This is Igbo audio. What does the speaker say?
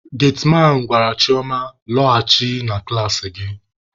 Getiman gwara Chioma, "laghachi na klasị gị!"